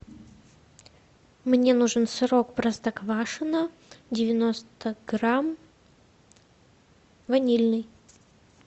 мне нужен сырок простоквашино девяносто грамм ванильный